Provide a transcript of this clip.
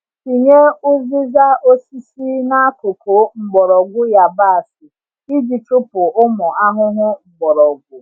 Tinye uziza osisi n’akụkụ mgbọrọgwụ yabasị iji chụpụ ụmụ ahụhụ mgbọrọgwụ.